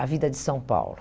a vida de São Paulo.